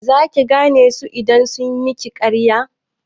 Za ki zane su idan sun miki ƙarya?